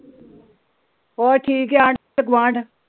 ਹੋਰ ਠੀਕ।